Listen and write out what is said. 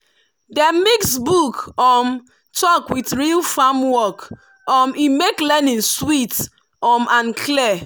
dem mix book um talk with real farm work um e make learning sweet um and clear.